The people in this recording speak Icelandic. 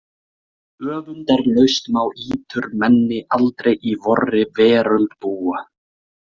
Öfundarlaust má íturmenni aldrei í vorri veröld búa.